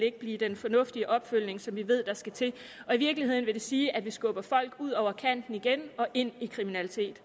blive den fornuftige opfølgning som vi ved der skal til i virkeligheden vil det sige at vi skubber folk ud over kanten igen og ind i kriminalitet